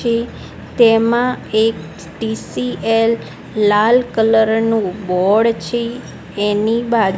છે તેમા એક ટી_સી_એલ લાલ કલર નુ બોર્ડ છે એની બા--